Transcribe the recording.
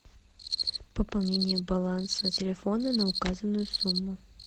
пополнение баланса телефона на указанную сумму